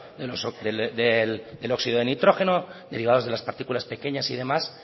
del óxido nitrógeno derivados de las partículas pequeñas y demás